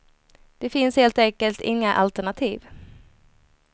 Det finns helt enkelt inga alternativ.